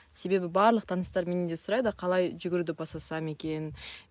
себебі барлық таныстарым менен де сұрайды қалай жүгіруді бастасам екен